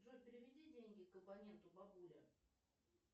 джой переведи деньги к абоненту бабуля